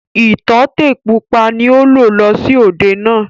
Ìtọ́tè pupa ni ó lò lọ sí òde náà.